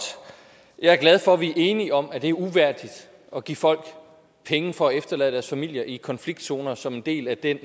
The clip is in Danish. jeg er glad for at vi er enige om at det er uværdigt at give folk penge for at efterlade deres familier i konfliktzoner som en del af den